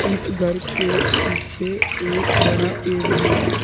इस घर के पीछे एक बड़ा पेड़ भी है।